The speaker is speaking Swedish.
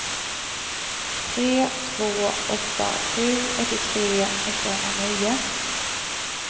tre två åtta sju åttiotre åttahundranio